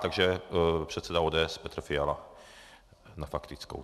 Takže předseda ODS Petr Fiala na faktickou.